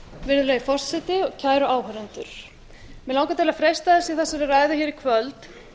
virðulegi forseti kæru áheyrendur mig langar til freista þess í þessari ræðu hér í kvöld